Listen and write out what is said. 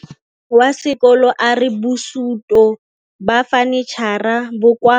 Mogokgo wa sekolo a re bosutô ba fanitšhara bo kwa